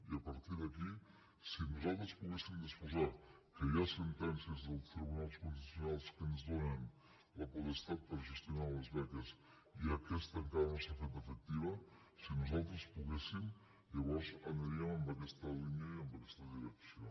i a partir d’aquí si nosaltres poguéssim disposar ne que hi ha sentències del tribunal constitucional que ens donen la potestat per a gestionar les beques i aquestes encara no s’han fet efectives si nosaltres poguéssim llavors aniríem en aquesta línia i en aquesta direcció